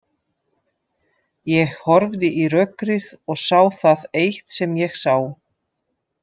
Ég horfði í rökkrið og sá það eitt sem ég sá.